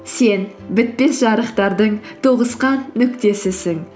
сен бітпес жарықтардың тоғысқан нүктесісің